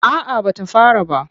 A'a ba ta fara ba.